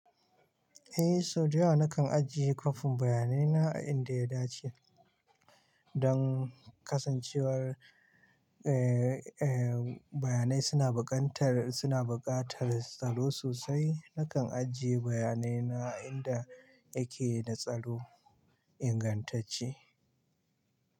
Eh, sau da yawa nakan ajiye kwafin bayanai na a inda ya dace don kasancewar, eh, eh, bayanai suna baƙantar, suna buƙatar tsaro sosai. Nakan ajiye bayanai na a inda yake da tsaro ingantacce.